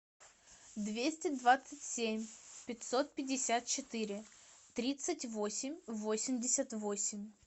двести двадцать семь пятьсот пятьдесят четыре тридцать восемь восемьдесят восемь